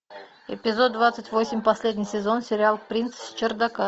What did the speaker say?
эпизод двадцать восемь последний сезон сериал принц с чердака